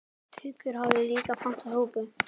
Haukur hafði líka pantað súpu.